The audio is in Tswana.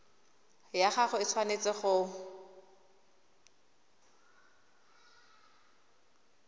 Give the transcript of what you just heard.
ya gago e tshwanetse go